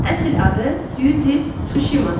Əsl adı Suci Tsuşimadır.